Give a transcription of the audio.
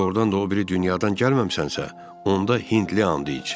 Əgər doğrudan da o biri dünyadan gəlməmisənsə, onda Hindli and iç.